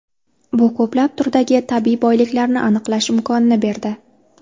Bu ko‘plab turdagi tabiiy boyliklarni aniqlash imkonini berdi.